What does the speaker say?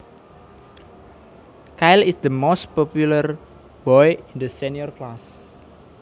Kyle is the most popular boy in the senior class